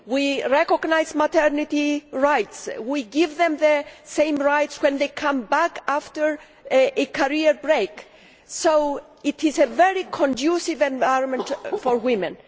we recognise maternity rights we give women the same rights when they come back after a career break so it is a very conducive environment for women.